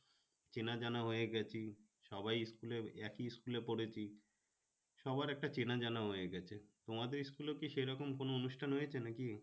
চেনা জানা হয়ে গেছে সবাই school এ একই school এ পড়েছি সবার একটা চেনা জানা হয়ে গেছে তোমাদের school এ ও কি সেরকম কোনো অনুষ্ঠান হয়েছে নাকি?